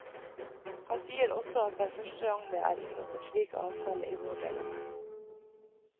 Han sier også at det er første gang det er inngått en slik avtale i vår del av verden.